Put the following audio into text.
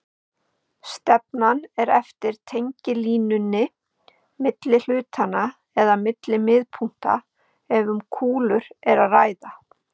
Stefnan er eftir tengilínunni milli hlutanna eða milli miðpunkta ef um kúlur er að ræða.